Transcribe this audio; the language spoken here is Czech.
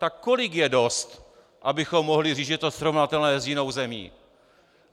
Tak kolik je dost, abychom mohli říct, že je to srovnatelné s jinou zemí?